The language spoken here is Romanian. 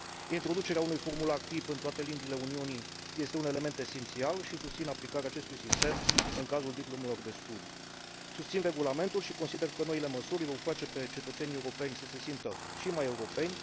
Introducerea unui formular tip în toate limbile Uniunii este un element esențial și susțin aplicarea acestui sistem în cazul diplomelor de studii. Susțin regulamentul și consider că noile măsuri îi vor face pe cetățenii europeni să se simtă și mai europeni.